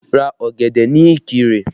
Ra ọ̀gẹ̀dẹ̀ ní Ikire!